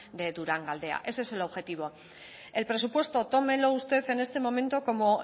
de durangaldea ese es el objetivo el presupuesto tómelo usted en este momento como